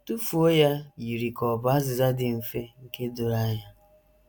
“ Tụfuo ya ” yiri ka ọ bụ azịza dị mfe, nke doro anya.